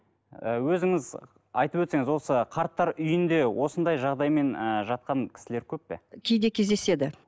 ы өзіңіз айтып өтсеңіз осы қарттар үйінде осындай жағдаймен ыыы жатқан кісілер көп пе кейде кездеседі